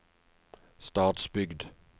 Stadsbygd